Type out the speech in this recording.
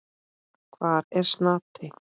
Hvar er Snati?